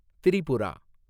Tripura